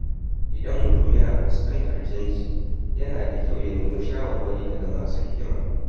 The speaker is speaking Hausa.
Idan mutum yana fuskantar canji, yana da kyau ya nemi shawarwari daga masu hikima.